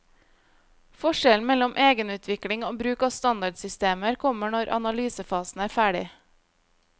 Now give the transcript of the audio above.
Forskjellen mellom egenutvikling og bruk av standardsystemer kommer når analysefasen er ferdig.